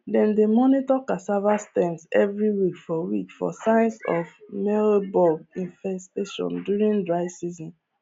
dem dey monitor cassava stems every week for week for signs of mealybug infestations during dry season